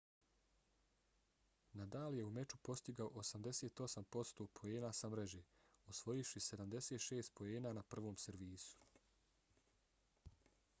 nadal je u meču postigao 88% poena sa mreže osvojivši 76 poena na prvom servisu